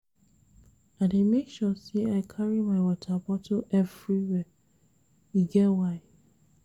I dey make sure sey I carry my water bottle everywhere, e get why.